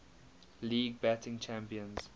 league batting champions